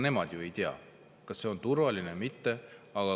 Inimesed ei tea, kas see on turvaline või mitte.